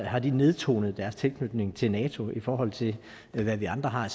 har de nedtonet deres tilknytning til nato i forhold til hvad vi andre har